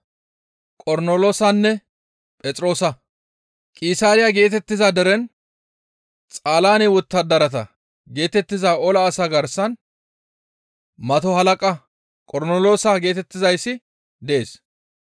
Qisaariya geetettiza deren, «Xaalaane wottadarata» geetettiza ola asaa garsan mato halaqa Qornoloosa geetettizayssi dees.